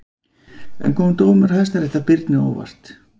En kom dómur Hæstaréttar Birni á óvart?